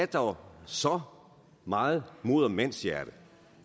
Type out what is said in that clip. dog så meget mod og mandshjerte